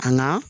An ka